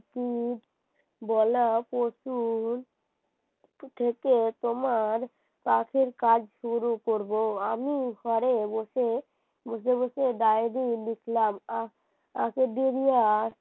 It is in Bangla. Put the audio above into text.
থেকে তোমার পাখির কাজ শুরু করব আমি ঘরে বসে বসে diary লিখলাম আগের দিন